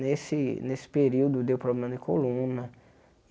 Nesse nesse período deu problema de coluna.